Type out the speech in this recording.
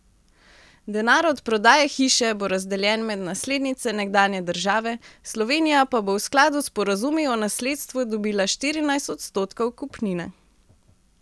Denar od prodaje hiše bo razdeljen med naslednice nekdanje države, Slovenija pa bo v skladu s sporazumi o nasledstvu dobila štirinajst odstotkov kupnine.